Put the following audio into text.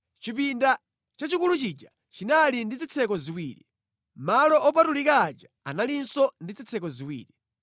Chipinda chachikulu chija chinali ndi zitseko ziwiri. Malo opatulika aja analinso ndi zitseko ziwiri.